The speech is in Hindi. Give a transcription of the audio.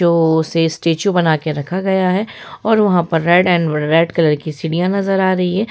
जो उसे स्टेच्यू बना के रखा गया है और वहां पर रेड एंड रेड कलर की सीढ़ियां नजर आ रहीं है।